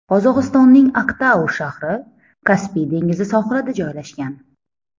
Qozog‘istonning Aktau shahri Kaspiy dengizi sohilida joylashgan.